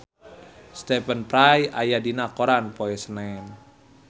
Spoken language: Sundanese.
Stephen Fry aya dina koran poe Senen